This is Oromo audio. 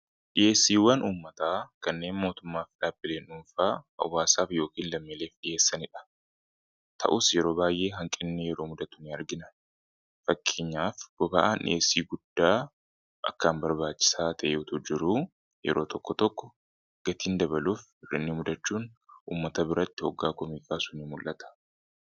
dhi'eessiiwwan ummata kanneen mootummaaf dhaabileen duunfaa awwaasaaf yookiin lammiileef dhiheessaniidha ta'us yeroo baay'ee hanqinni yeroo mudatu in argina fakkiinyaaf boba'aan dhiheessii guddaa akkaan barbaachisaa ta'e'utu jiruu yeroo tokko tokko gatiin dabaluuf rinni mudachuun ummata biratti hoggaa koomiiqaasuunin mul'ata